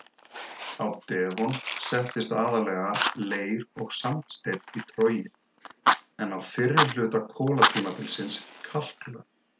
Á devon settist aðallega leir- og sandsteinn í trogið en á fyrri hluta kolatímabilsins kalklög.